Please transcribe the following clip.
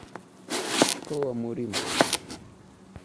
школа мурим